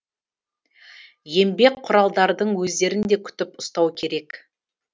еңбек құралдардың өздерін де күтіп ұстау керек